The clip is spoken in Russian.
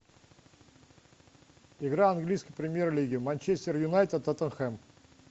игра английской премьер лиги манчестер юнайтед тоттенхэм